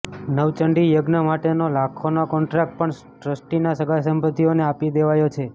નવચંડી યજ્ઞ માટેનો લાખોનો કોન્ટ્રાક્ટ પણ ટ્રસ્ટીના સગાંસંબંધીઓને આપી દેવાયો છે